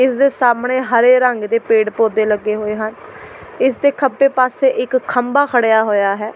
ਇਸ ਦੇ ਸਾਹਮਣੇ ਹਰੇ ਰੰਗ ਦੇ ਪੇੜ੍ਹ ਪੌਦੇ ਲੱਗੇ ਹੋਏ ਹਨ ਇਸ ਦੇ ਖੱਬੇ ਪਾਸੇੇ ਇੱਕ ਖੰਭਾ ਖੜ੍ਹਿਆ ਹੋਇਆ ਹੈ।